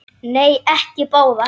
Nei, ekki báðar.